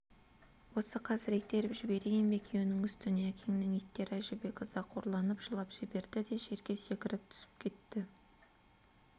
осы қазір итеріп жіберейін бе екеуінің үстіне әкеңнің иттер әжібек ызақорланып жылап жіберді де жерге секіріп түсіп кетті